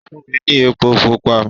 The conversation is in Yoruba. Ó fún mi ní epo pupa.